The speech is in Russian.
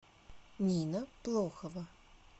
нина плохова